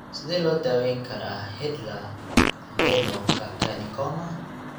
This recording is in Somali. Sidee loo daweyn karaa hidradenocarcinoma?